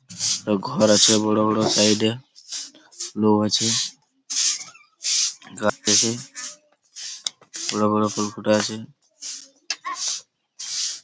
ঘর আছে বড়ো বড়ো সাইড এ লোক আছে গাড়ি আছে বড়ো বড়ো ফুল ফুটাই আছে ।